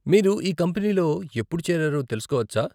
మీరు ఈ కంపెనీలో ఎప్పుడు చేరారో తెలుసుకోవచ్చా?